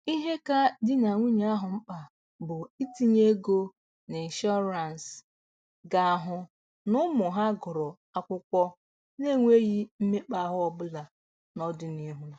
Ihe ka di na nwunye ahụ mkpa bụ itinye ego n'ịnshọrance ga-ahụ n'ụmụ ha gụrụ akwụkwọ n'enweghị mmekpa ahụ ọbụla n'ọdịnihu